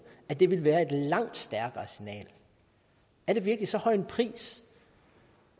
at det ville være et langt stærkere signal er det virkelig så høj en pris